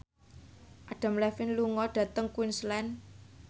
Adam Levine lunga dhateng Queensland